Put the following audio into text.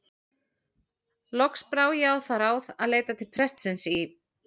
Loks brá ég á það ráð að leita til prestsins í